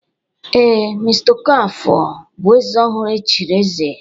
Ee, mr Okafor bụ eze ọhụrụ e chiri eze